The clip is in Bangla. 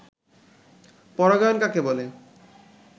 পরাগায়ন কাকে বলে